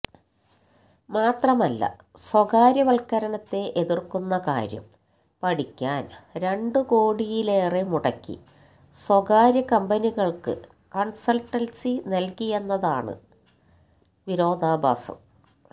മാത്രമല്ല സ്വകാര്യവല്ക്കരണത്തെ എതിര്ക്കുന്ന കാര്യം പഠിക്കാന് രണ്ടു കോടിയിലേറെ മുടക്കി സ്വകാര്യ കമ്പനികള്ക്ക് കണ്സള്ട്ടന്സി നല്കിയെന്നതാണ് വിരോധാഭാസം